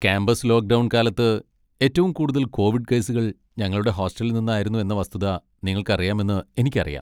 Campus lockdown കാലത്ത് ഏറ്റവും കൂടുതൽ കോവിഡ് കേസുകൾ ഞങ്ങളുടെ ഹോസ്റ്റലിൽ നിന്നായിരുന്നു എന്ന വസ്തുത നിങ്ങൾക്കറിയാമെന്ന് എനിക്കറിയാം.